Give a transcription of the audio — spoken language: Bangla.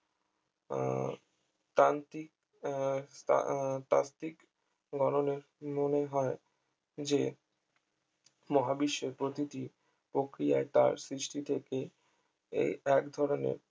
আহ তান্ত্রিক আহ তাত্ত্বিক গণনে মনে হয় যে মহাবিশ্বের প্রতিটি প্রক্রিয়াই তার সৃষ্টি থেকে এই এক ধরনের